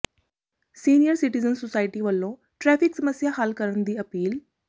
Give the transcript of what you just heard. senior citizen society ਵੱਲੋਂ traffic ਸਮੱਸਿਆ ਹੱਲ ਕਰਨ ਦੀ ਅਪੀਲ